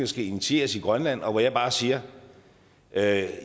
skal initieres i grønland og hvor jeg bare siger at